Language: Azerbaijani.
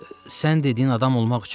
Sən dediyin adam olmaq üçün.